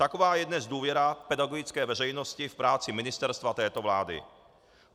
Taková je dnes důvěra pedagogické veřejnosti v práci ministerstva této vlády.